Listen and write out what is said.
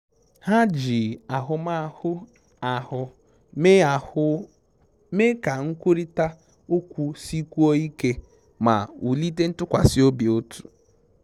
Ha ji ahụmahụ ahụ mee ahụ mee ka nkwurịta okwu sikwuo ike ma wulite ntukwasi obi otu